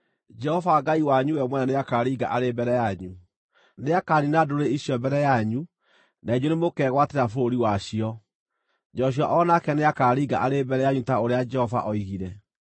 Jehova Ngai wanyu we mwene nĩakaringa arĩ mbere yanyu. Nĩakaniina ndũrĩrĩ icio mbere yanyu na inyuĩ nĩmũkegwatĩra bũrũri wacio. Joshua o nake nĩakaringa arĩ mbere yanyu ta ũrĩa Jehova oigire.